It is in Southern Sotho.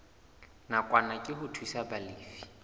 nakwana ke ho thusa balefi